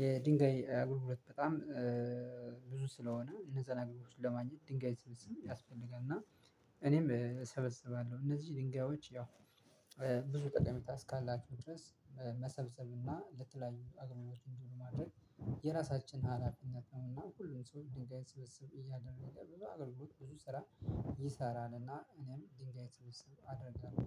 የድንጋይ አገልግሎት በጣም ብዙ ስለሆነ እነዛን አገልግሎቶችን ለማግኘት ድንጋይ ስብስብ ያስፈልጋል እና እኔም እሰበስባለሁ። እነዚህ ድንጋዮች ያው ብዙ ጠቀሜታ እስካላቸው ድረስ መሰብሰብና ለተለያዩ አገልግሎት እንዲሆኑ ማድረግ የራሳችን ሀላፊነት ነውና ሁሉም ሰው ድንጋይ ስብስብ እያደረገ ብዙ አገልግሎት ብዙ ስራ ይሰራል። እና እኔም ድንጋይ ስስብስብ አደርጋለሁ።